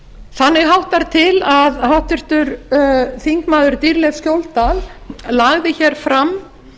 þannig háttar til að háttvirtur þingmaður dýrleif skjóldal lagði hér fram